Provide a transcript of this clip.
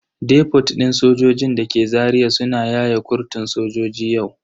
Depot din sojojin dake Zaria suna yaye kurtun sojoji yau.